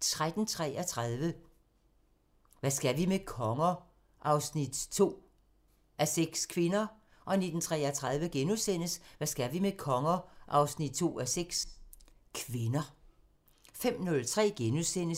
13:33: Hvad skal vi med konger? 2:6 – Kvinder 19:33: Hvad skal vi med konger? 2:6 – Kvinder * 05:03: